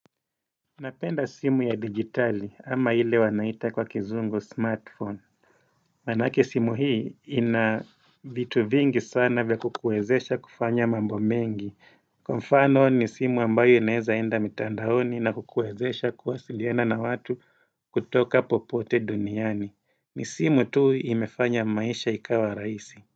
Napenda simu ya digitali ama ile wanaita kwa kizungu smartphone Manake simu hii ina vitu vingi sana vya kukuwezesha kufanya mambo mengi Kwa mfano ni simu ambayo inaeza enda mitandaoni na kukuwezesha kuwasiliana na watu kutoka popote duniani ni simu tu imefanya maisha ikawa raisi.